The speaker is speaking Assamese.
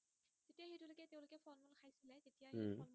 উম